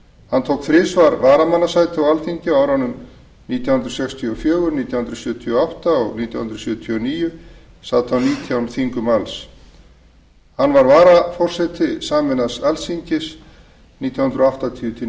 hann tók þrisvar varamannssæti á alþingi á árunum nítján hundruð sextíu og fjögur nítján hundruð sjötíu og átta og nítján hundruð sjötíu og níu sat á nítján þingum alls hann var annar varaforseti sameinaðs alþingis nítján hundruð áttatíu til